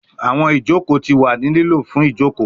Awọn ijoko ti wa ni lilo fun joko